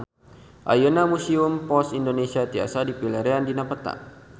Ayeuna Museum Pos Indonesia tiasa dipilarian dina peta